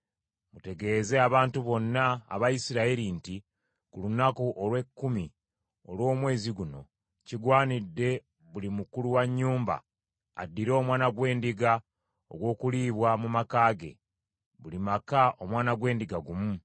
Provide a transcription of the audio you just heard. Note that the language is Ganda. Mutegeeze abantu bonna aba Isirayiri nti ku lunaku olw’ekkumi olw’omwezi guno kigwanidde buli mukulu wa nnyumba, addire omwana gw’endiga ogw’okuliibwa mu maka ge, buli maka omwana gw’endiga gumu.